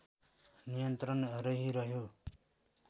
नियन्त्रण रहिरह्यो